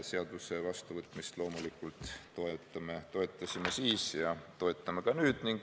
Seaduse vastuvõtmist loomulikult toetame, toetasime siis ja toetame ka nüüd.